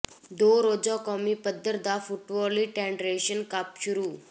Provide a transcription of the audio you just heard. ਦੋ ਰੋਜ਼ਾ ਕੌਮੀ ਪੱਧਰ ਦਾ ਫੁੱਟਵੋਲੀ ਫੈਡਰੇਸ਼ਨ ਕੱਪ ਸ਼ੁਰੂ